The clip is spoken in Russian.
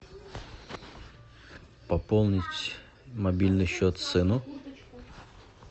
пополнить мобильный счет сыну